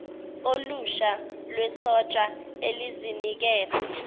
olusha lwesotsha elizinikele